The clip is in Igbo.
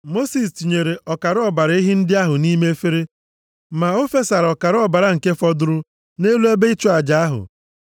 Mosis tinyere ọkara ọbara ehi ndị ahụ nʼime efere. Ma o fesara ọkara ọbara nke fọdụrụ nʼelu ebe ịchụ aja ahụ.